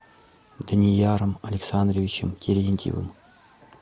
данияром александровичем терентьевым